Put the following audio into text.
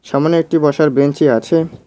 সামোনে একটি বসার বেঞ্চি আছে।